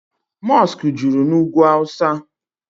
mọskụ juru na ugwu awụsa.